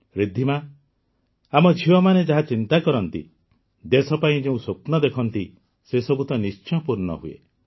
ରିଦ୍ଧିମା ଆମ ଝିଅମାନେ ଯାହା ଚିନ୍ତା କରନ୍ତି ଦେଶ ପାଇଁ ଯେଉଁ ସ୍ୱପ୍ନ ଦେଖନ୍ତି ସେସବୁ ତ ନିଶ୍ଚୟ ପୂର୍ଣ୍ଣ ହୁଏ